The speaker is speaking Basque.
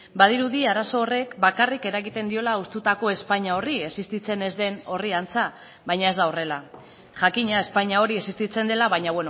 badirudi arazo horrek bakarrik eragiten diola hustutako espainia horri existitzen ez den horri antza baina ez da horrela jakina espainia hori existitzen dela baina